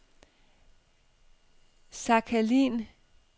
Sakhalin